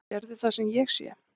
Sérðu það sem ég sé?